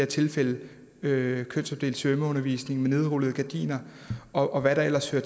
tilfældet med kønsopdelt svømmeundervisning med nedrullede gardiner og hvad der ellers hører